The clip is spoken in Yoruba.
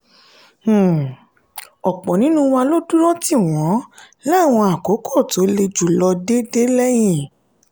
um ọ̀pọ̀ nínú wa ló dúró tì wọ́n láwọn àkókò tó le jù lọ dé dé lẹ́yìn.